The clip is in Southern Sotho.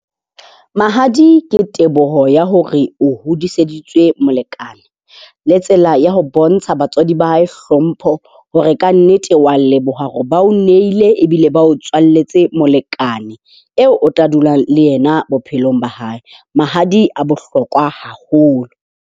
Mahadi ke teboho ya hore o hodiseditswe molekane. Le tsela ya ho bontsha batswadi ba hae hlompho hore kannete wa leboha hore ba o nehile ebile ba o tswaletswe molekane eo o tla dula le yena bophelong ba hae. Mahadi a bohlokwa haholo